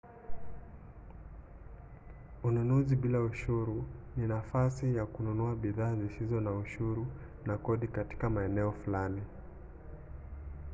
ununuzi bila ushuru ni nafasi ya kununua bidhaa zisizo na ushuru na kodi katika maeneo fulani